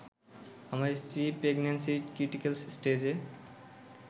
আমার স্ত্রী প্রেগন্যান্সির ক্রিটিক্যাল স্টেজে